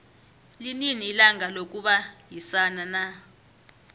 linini ilanga lokubayisana na